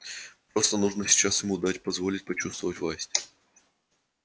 просто нужно сейчас ему дать позволить почувствовать власть